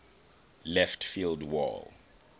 left field wall